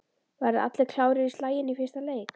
Verða allir klárir í slaginn í fyrsta leik?